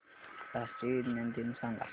राष्ट्रीय विज्ञान दिन सांगा